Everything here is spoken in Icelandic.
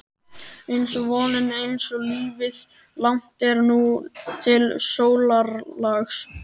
einsog vonin, einsog lífið- langt er nú til sólarlags.